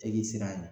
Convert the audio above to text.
E k'i siran a ɲɛ